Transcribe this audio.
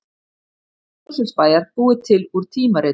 Merki Mosfellsbæjar búið til úr tímaritum